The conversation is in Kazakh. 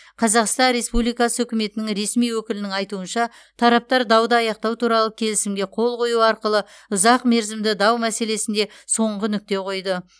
қазақстан республикасы үкіметінің ресми өкілінің айтуынша тараптар дауды аяқтау туралы келісімге қол қою арқылы ұзақ мерзімді дау мәселесінде соңғы нүкте қойды